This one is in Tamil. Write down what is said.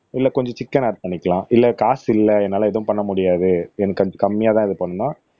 இல்ல கொஞ்சம் சிக்கன் ஆட் பண்ணிக்கலாம் இல்ல காசு இல்ல என்னால எதுவும் பண்ண முடியாது எனக்கு கொஞ்சம் கம்மியா தான் இது பண்ணனும்ன்னா